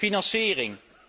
En financiering!